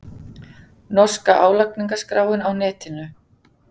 Norska álagningarskráin á netinu